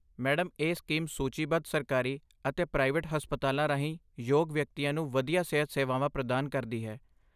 Madam, ਇਹ scheme ਸੂਚੀਬੱਧ ਸਰਕਾਰੀ ਅਤੇ ਪ੍ਰਾਈਵੇਟ ਹਸਪਤਾਲਾਂ ਰਾਹੀਂ ਯੋਗ ਵਿਅਕਤੀਆਂ ਨੂੰ ਵਧੀਆ ਸਿਹਤ ਸੇਵਾਵਾਂ ਪ੍ਰਦਾਨ ਕਰਦੀ ਹੈ।